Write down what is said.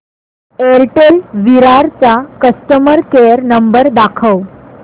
Airtel Virar चा customer care number दाखव